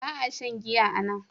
Ba a shan giya a nan.